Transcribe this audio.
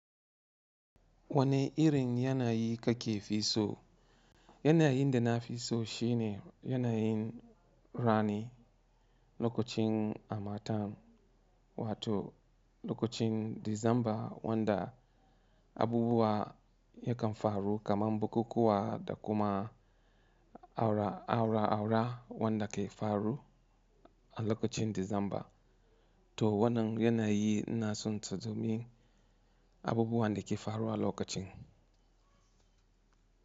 Wane irin yanayi ka ke fi so? Yanayi da na fi so shine yanayi rani lokacin amatan wato lokacin Disamba wanda abubuwa yakan faru kamar bukukuwa da kuma aura aura wanda ke faruwa a lokacin Disamba to wannan yanayi na son. Abubuwan da ke faruwa a lokacin.